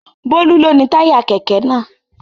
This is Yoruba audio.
Bólú ló ni táyà kẹ̀kẹ́ náà.